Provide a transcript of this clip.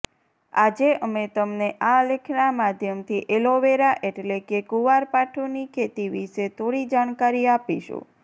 આજે અમે તમને આ લેખના માધ્યમથી એલોવેરા એટલે કે કુંવારપાઠુંની ખેતી વિષે થોડી જાણકારી આપીશું